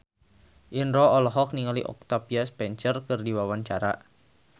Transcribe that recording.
Indro olohok ningali Octavia Spencer keur diwawancara